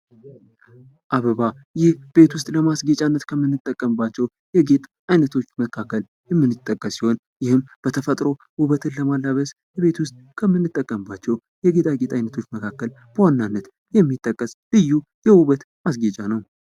አበባ ይህ ቤት ውስጥ ለማስጌጫነት ከምንጠቀምባቸው የጌጥ አይነቶች መካከል የሚጠቀስ ሲሆን በተፈጥሮ ውበትን ለመላበስ ቤት ውስጥ ከምንጠቀምባቸው የጌጣጌጥ አይነቶች መካከል በዋናነት የሚጠቀስ ልዩ የውበት ማስጌጫ ነው።